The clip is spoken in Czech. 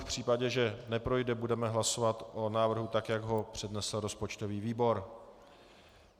V případě, že neprojde, budeme hlasovat o návrhu tak, jak ho přednesl rozpočtový výbor.